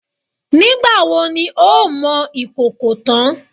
Nígbà wo ni o ó mọ ìkòkò tán?